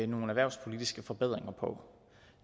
nogle erhvervspolitiske forbedringer på